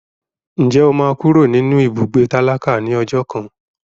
Ǹjẹ́ o máa kúrò nínú ibùgbé tálákà ní ọjọ́ kan?